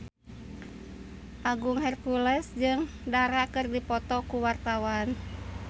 Agung Hercules jeung Dara keur dipoto ku wartawan